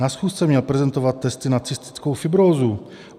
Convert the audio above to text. Na schůzce měl prezentovat testy na cystickou fibrózu.